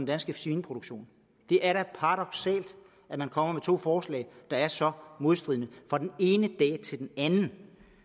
danske svineproduktion det er da paradoksalt at man kommer med to forslag der er så modstridende fra den ene dag til den anden